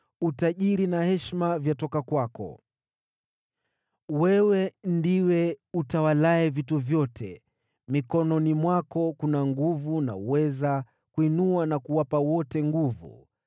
Utajiri na heshima vyatoka kwako; wewe ndiwe utawalaye vitu vyote. Mikononi mwako kuna nguvu na uweza ili kuinua na kuwapa wote nguvu,